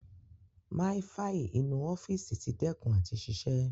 Máífaì inú ọ́fíìsì ti dẹ́kùn àti ṣiṣẹ́.